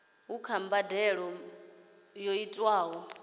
kha vha badele mbadelo yo tiwaho